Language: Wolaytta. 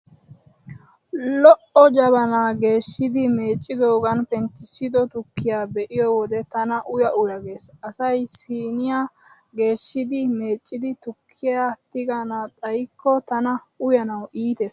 Lo'o jabanaa geeshidi meeccidoogaani penttissido tukkiyaa be'iyo wode tana uya uya gees. Asay siiniyaa geeshshidi meeccidi tukkiyaa tigana xayikko tana uyanawu iitees.